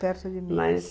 Perto de